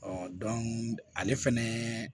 ale fɛnɛ